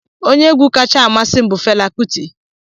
Onye egwu kacha amasị m bụ fela kuti